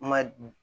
Ma